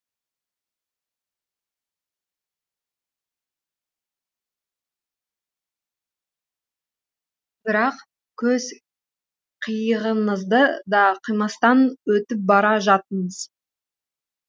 бірақ көз қиығыңызды да қимастан өтіп бара жаттыңыз